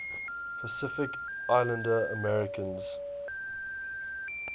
pacific islander americans